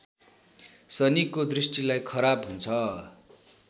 शनिको दृष्टिलाई खराब हुन्छ